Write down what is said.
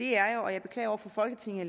er jo jeg beklager over for folketinget